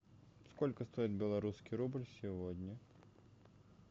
сколько стоит белорусский рубль сегодня